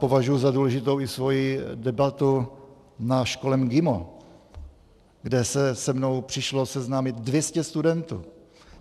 Považuji za důležitou i svoji debatu na škole MGIMO, kde se se mnou přišlo seznámit 200 studentů.